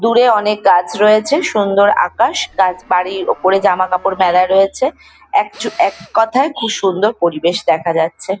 দূরে অনেক গাছ রয়েছে। সুন্দর আকাশ। গাছ বাড়ির ওপরে জামা কাপড় মেলা রয়েছে। এক-এককথায় খুব সুন্দর পরিবেশ দেখা যাচ্ছে।